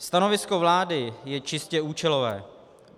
Stanovisko vlády je čistě účelové.